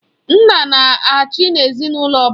Nna na-achị n'ezinaụlọ ọbụla.